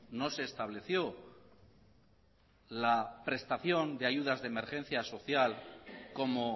no se estableció la prestación de ayudas de emergencia social como